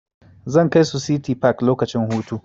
Zan kai su City park lokacin hutu.